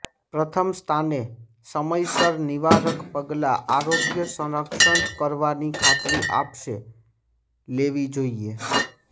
પ્રથમ સ્થાને સમયસર નિવારક પગલાં આરોગ્ય સંરક્ષણ કરવાની ખાતરી આપશે લેવી જોઇએ